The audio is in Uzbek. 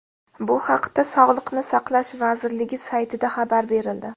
Bu haqda sog‘liqni saqlash vazirligi saytida xabar berildi .